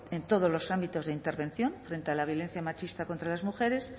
en todos los ámbitos de intervención frente a la violencia machista contra las mujeres